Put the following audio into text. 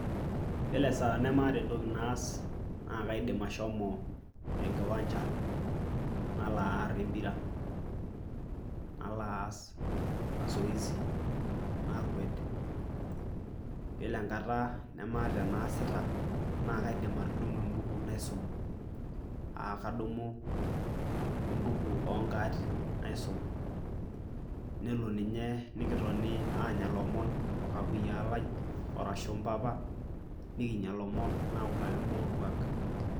Iyiolo esaa nemaata entoki naas naa kaidim ashomo en kiwanja nalo aar empira, nalo aas mazoezi, nakwet. Iyiolo enkata nemaata enaasita naa kaidim atudumu embuku naisum aa kadumu embuku o nkaatin naisum, nelo ninye nekitoni aanya lomon o kakuyia lai arashu mpapa nikinya lomon nautaki mbaa orkuak.